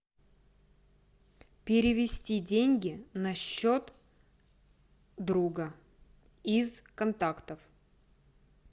перевести деньги на счет друга из контактов